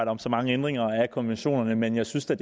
om så mange ændringer af konventionerne men jeg synes da